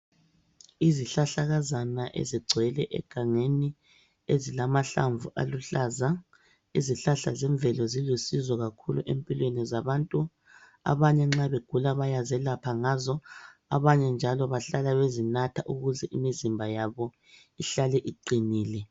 Izihlahlakazana ezigcwele egangeni ezilamahlamvu aluhlaza. Izihlahla zemvelo zilusizo kakhulu empilweni zabantu, abanye nxa begula bayazelapha ngazo, abanye njalo bahlala bezinatha ukuze imizimba yabo ihlale iqinile.